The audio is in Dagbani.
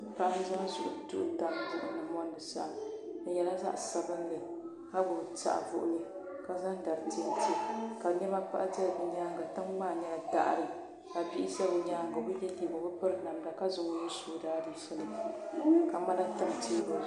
Paɣa n zaŋ duɣu n tam buɣum ni n mɔndi saɣim. ɔ nyɛla zaɣi sabinli. ka gbubi saɣivuɣuli. kazaŋ dari tɛntɛ ka nema pahi do' ɔnyaaŋa. tiŋ maa nyala daɣiri kabii ʒa ɔnyaaŋa ɔbi piri namda. ɔbi ye liiga ka zaŋ ɔnuhi su ɔ daaʒiifuni.